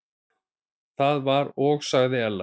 Það var og sagði Ella.